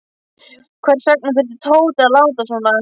Hvers vegna þurfti Tóti að láta svona.